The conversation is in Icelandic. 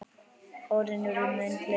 Árin urðu mun fleiri.